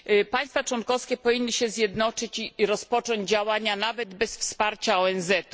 Państwa członkowskie powinny się zjednoczyć i rozpocząć działania nawet bez wsparcia ONZ.